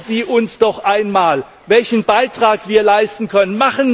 Sagen Sie uns doch einmal, welchen Beitrag wir leisten können!